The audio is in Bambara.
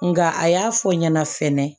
Nka a y'a fɔ n ɲɛna fɛnɛ